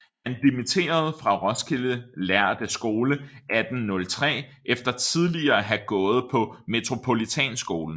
Han dimitteredes fra Roskilde lærde Skole 1803 efter tidligere at have gået på Metropolitanskolen